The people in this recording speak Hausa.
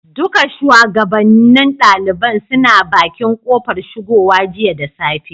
Duka shugabannin ɗaliban suna bakin kofar shigowa jiya da safe.